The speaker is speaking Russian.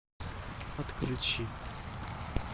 отключи